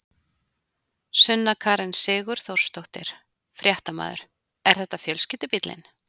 Sunna Karen Sigurþórsdóttir, fréttamaður: Er þetta fjölskyldubíllinn?